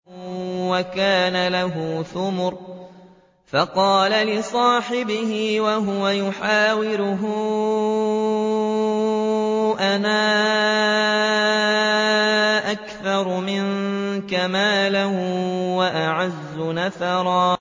وَكَانَ لَهُ ثَمَرٌ فَقَالَ لِصَاحِبِهِ وَهُوَ يُحَاوِرُهُ أَنَا أَكْثَرُ مِنكَ مَالًا وَأَعَزُّ نَفَرًا